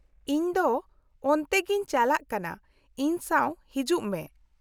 -ᱤᱧ ᱫᱚ ᱚᱱᱛᱮ ᱜᱮᱧ ᱪᱟᱞᱟᱜ ᱠᱟᱱᱟ, ᱤᱧ ᱥᱟᱶ ᱦᱤᱡᱩᱜ ᱢᱮ ᱾